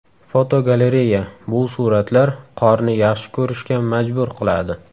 Fotogalereya: Bu suratlar qorni yaxshi ko‘rishga majbur qiladi!.